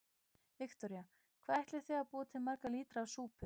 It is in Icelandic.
Viktoría: Hvað ætlið þið að búa til marga lítra af súpu?